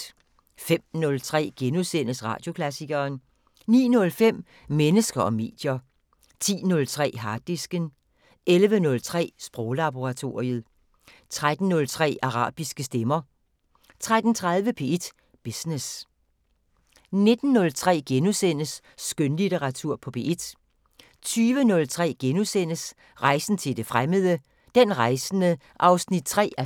05:03: Radioklassikeren * 09:05: Mennesker og medier 10:03: Harddisken 11:03: Sproglaboratoriet 13:03: Arabiske stemmer 13:30: P1 Business 19:03: Skønlitteratur på P1 * 20:03: Rejsen til det fremmede: Den rejsende 3:4